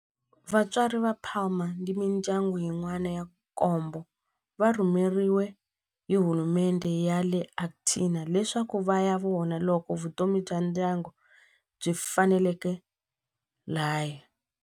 Vatswari va Palma ni mindyangu yin'wana ya nkombo va rhumeriwe hi hulumendhe ya le Argentina leswaku va ya vona loko vutomi bya ndyangu byi faneleka laha.